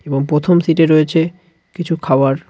এবং প্রথম সিটে রয়েছে কিছু খাওয়ার .